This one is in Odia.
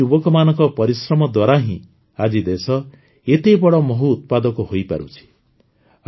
ଏପରି ଯୁବକମାନଙ୍କ ପରିଶ୍ରମ ଦ୍ୱାରା ହିଁ ଆଜି ଦେଶ ଏତେ ବଡ଼ ମହୁ ଉତ୍ପାଦକ ହୋଇପାରୁଛି